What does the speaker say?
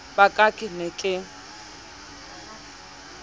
ba ka ke ne ke